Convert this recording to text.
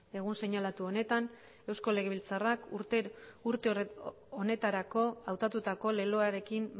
egun seinalatu honetan eusko legebiltzarrak urte honetarako hautatutako leloarekin